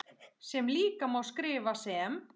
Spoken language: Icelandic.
sem líka má skrifa sem